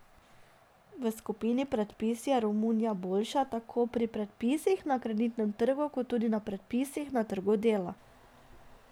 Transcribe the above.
V skupini predpisi je Romunija boljša tako pri predpisih na kreditnem trgu kot tudi predpisih na trgu dela.